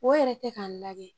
O yɛrɛ tɛ k'a lagɛ